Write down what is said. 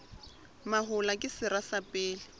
mahola ke sera sa pele